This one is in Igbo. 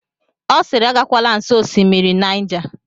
Ọ siiri, agakwala nsọ Osimiri Naija!